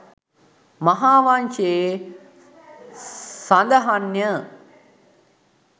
මහාවංසයේ සඳහන්ය